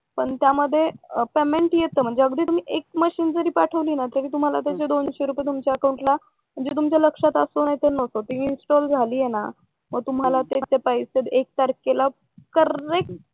पण त्यामध्ये पेमेंट येत म्हणजे अगदी एक मशीन जरी पाठवली ना तरी त्याच दोनशे रुपये तुमच्या अकाउंटला येतात हे तुमच्या लक्षात असो किंवा नसो ती इंस्टॉल झालीये ना मग तुम्हाला त्याचे पैसे एक तारखेला करेक्ट